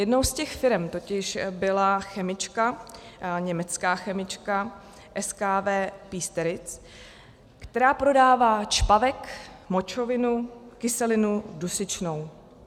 Jednou z těch firem totiž byla chemička, německá chemička SKW Piesteritz, která prodává čpavek, močovinu, kyselinu dusičnou.